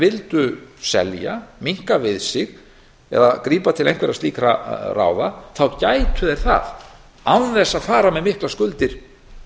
vildu selja minnka við sig eða grípa til einhverra slíkra ráða gætu þeir það án þess að fara með miklar skuldir